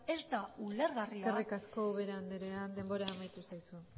eskerrik asko ubera andrea denbora amaitu zaizu